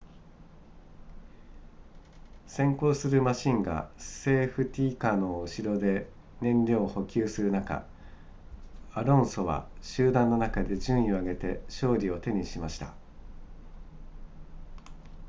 先行するマシンがセーフティカーの後ろで燃料を補給する中アロンソは集団の中で順位を上げて勝利を手にしました